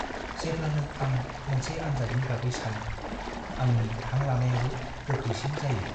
जेब्लानो आं मोनसे आनजादनि बागै सानो, आंनि हां लानायाबो गोख्रैसिन जायो।